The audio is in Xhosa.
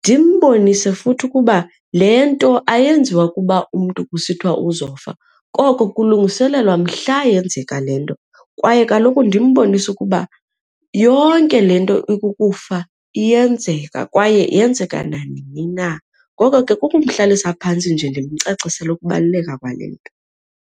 Ndimbonise futhi ukuba le nto ayenziwa ukuba umntu kusithiwa uzofa koko kulungiselelwa mhla yenzeka le nto. Kwaye kaloku ndimbonise ukuba yonke le nto ikukufa iyenzeka kwaye yenzeka nanini na, ngoko ke kukumhlalisa phantsi nje ndimcacisele ukubaluleka kwale nto.